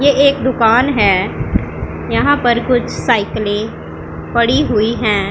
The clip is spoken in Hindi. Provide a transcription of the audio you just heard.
ये एक दुकान है यहाँ पर कुछ साइकिले पड़ी हुई हैं।